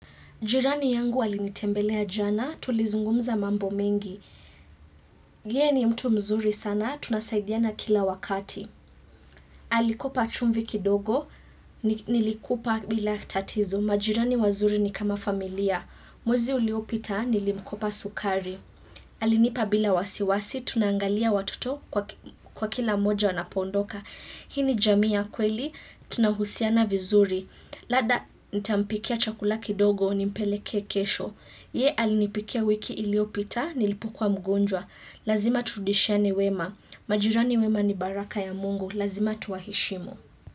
Jirani yangu alinitembelea jana, tulizungumza mambo mengi. Yeye ni mtu mzuri sana, tunasaidiana kila wakati. Alikopa chumvi kidogo, nilikupa bila tatizo. Majirani wazuri ni kama familia. Mwezi uliopita, nilimkopa sukari. Alinipa bila wasiwasi, tunaangalia watoto kwa kila mmoja anapondoka. Hii ni jamii ya kweli, tunahusiana vizuri. Lada, nitampikia chakula kidogo, ni mpelekee kesho. Ye alinipikia wiki iliopita, nilipokuwa mgonjwa, lazima turudishane wema, majirani wema ni baraka ya mungu, lazima tuwaheshimu.